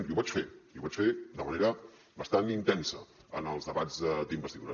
i ho vaig fer i ho vaig fer de manera bastant intensa en els debats d’investidura